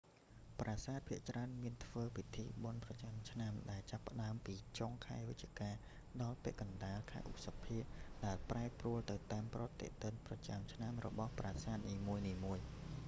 ប្រាសាទភាគច្រើនមានធ្វើពិធីបុណ្យប្រចាំឆ្នាំ ដែលចាប់ផ្តើមពីចុងខែវិច្ឆិកាដល់ពាក់កណ្តាល ខែឧសភា ដែលប្រែប្រួលទៅតាមប្រតិទិនប្រចាំឆ្នាំរបស់ប្រាសាទនីមួយៗ